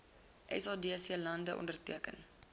sadc lande onderteken